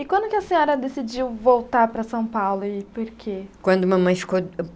E quando que a senhora decidiu voltar para São Paulo e por quê? Quando mamãe ficou